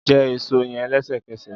Jẹ eso yẹn lẹsẹkẹsẹ!